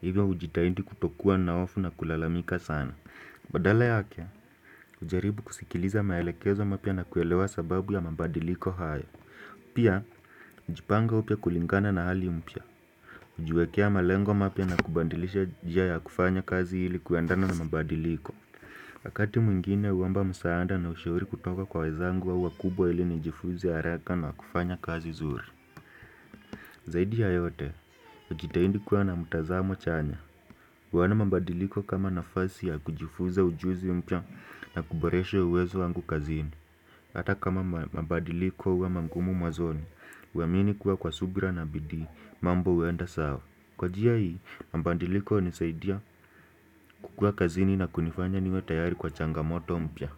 Hivyo hujitahindi kutokuwa na ofu na kulalamika sana. Badala yake, ujaribu kusikiliza maelekezo mapya na kuelewa sababu ya mambadiliko haya. Pia, jipanga upya kulingana na hali mpya. Ujiwekea malengo mapya na kubandilisha njia ya kufanya kazi ili kuandana na mambadiliko. Wakati mwingine huomba msaanda na ushauri kutoka kwa wezangu au wakubwa ili nijifuze haraka na kufanya kazi zuri. Zaidi ya yote, wajitahindi kuwa na mtazamo chanya. Huona mabadiliko kama nafasi ya kujifuza ujuzi mpya na kuboresha uwezo wangu kazini. Ata kama mabadiliko huwa mangumu mwanzoni, huamini kuwa kwa subira na bidii mambo huenda sawa. Kwa njia hii, mabadiliko hunisaidia kukuwa kazini na kunifanya niwe tayari kwa changamoto mpya.